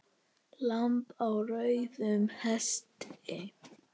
Lamb á rauðum hesti